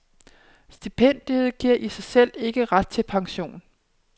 Stipendiet giver i sig selv ikke ret til pension.